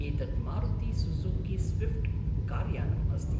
एतत् Maruti Suzuki Swift कार्यानम् अस्ति।